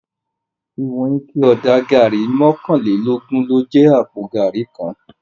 Iwòn iké òdá gàrí mòkánlélógùn ló jè àpó gàrí kán